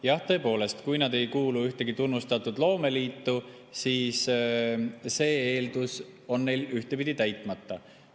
Jah, tõepoolest, kui nad ei kuulu ühtegi tunnustatud loomeliitu, siis see eeldus on neil ühtepidi täitmata.